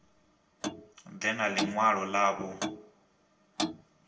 ḓe na ḽi ṅwalo ḽavho